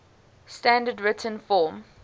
standard written form